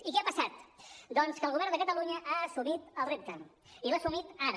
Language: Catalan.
i què ha passat doncs que el govern de catalunya ha assumit el repte i l’ha assumit ara